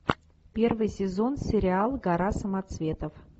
первый сезон сериал гора самоцветов